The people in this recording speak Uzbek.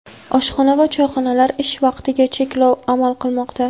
oshxona va choyxonalar ish vaqtiga cheklov amal qilmoqda.